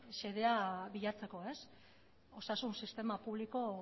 xedea bilatzeko osasun sistema publiko